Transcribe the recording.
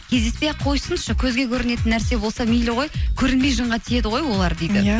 кездеспей ақ қойсыншы көзге көрінетін нәрсе болса мейлі ғой көрінбей жынға тиеді ғой олар дейді иә